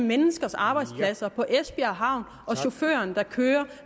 menneskers arbejdspladser på esbjerg havn og chaufføren der kører